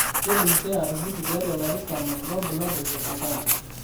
keidim keeya atupuku tiatua ilarin 10 loorbulabol le dukuya.